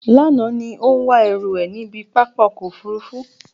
Lánàá ní ó ń wá ẹrú ẹ̀ níbi pápá ọkọ̀ Òfurufú.